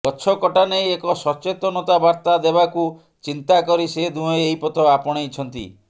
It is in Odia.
ଗଛ କଟା ନେଇ ଏକ ସଚେତନତା ବାର୍ତ୍ତା ଦେବାକୁ ଚିନ୍ତା କରି ସେ ଦୁହେଁ ଏହି ପଥ ଆପଣେଇଛନ୍ତି